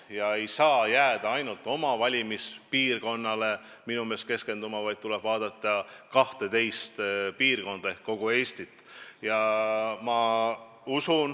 Minu meelest ei saa jääda ainult oma valimispiirkonnale keskenduma, vaid tuleb vaadata kahteteist piirkonda ehk kogu Eestit.